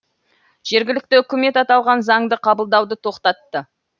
жергілікті үкімет аталған заңды қабылдауды тоқтатты